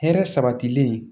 Hɛrɛ sabatilen